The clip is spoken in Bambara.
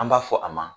An b'a fɔ a ma